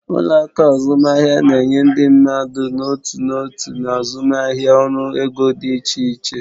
Ụlọ akụ azụmaahịa na-enye ndị mmadụ n'otu n'otu na azụmaahịa ọrụ ego dị iche iche.